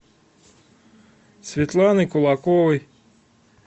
светланы кулаковой